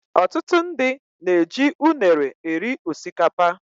Ọtụtụ ndị na -eji unere eri osikapa.